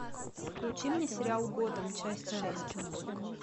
включи мне сериал готэм часть шесть